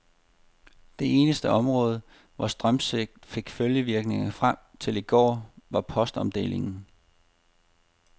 Det eneste område, hvor strømsvigtet fik følgevirkninger frem til i går, var postomdelingen.